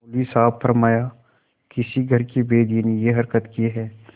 मौलवी साहब ने फरमाया किसी घर के भेदिये ने यह हरकत की है